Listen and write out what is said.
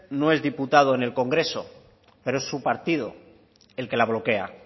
no es diputado en el congreso pero es su partido el que la bloquea